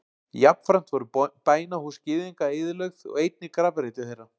Jafnframt voru bænahús Gyðinga eyðilögð og einnig grafreitir þeirra.